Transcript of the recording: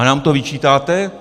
A nám to vyčítáte?